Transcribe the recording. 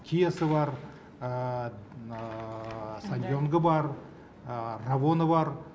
киасы бар саньёнгы бар равоны бар